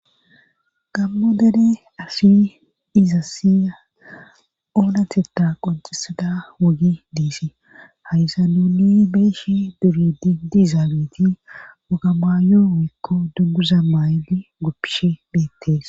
gammo dere assiy izas oonateta qoncisada wogi diisii haysa nuni beeshi duridi dizaabeti wogamaa yoo woykko dugguza maayle guppishe beettees